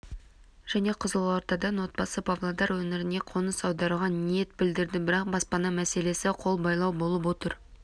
және қызылордадан отбасы павлодар өңіріне қоныс аударуға ниет білдірді бірақ баспана мәселесі қолбайлау болып отыр